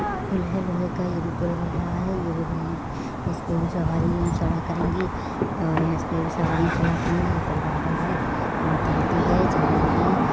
पुल है लोहे का ये भी पुल बन रहा है ये भी बन। इसपे भी सवारी यहाँ चढा करेंगे और इसपे भी सवारी चला करेंगे ऊपर बादल है और धरती है जमीन है।